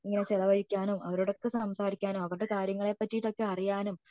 ഇങ്ങനെ ചിലവഴിക്കാനും അവരോടൊക്കെ സംസാരിക്കാനും അവരുടെ കാര്യങ്ങളെ പറ്റിയിട്ട് ഒക്കെ അറിയാനും